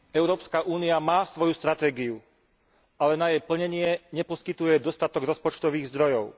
Európska únia má svoju stratégiu, ale na jej plnenie neposkytuje dostatok rozpočtových zdrojov.